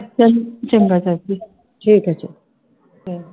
ਚੱਲ ਚੰਗਾ ਚਾਚੀ, ਠੀਕ ਹੈ।